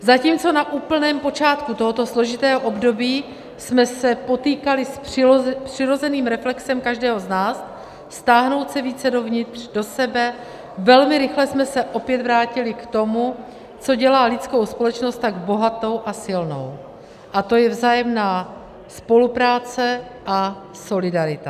Zatímco na úplném počátku tohoto složitého období jsme se potýkali s přirozeným reflexem každého z nás stáhnout se více dovnitř, do sebe, velmi rychle jsme se opět vrátili k tomu, co dělá lidskou společnost tak bohatou a silnou, a to je vzájemná spolupráce a solidarita.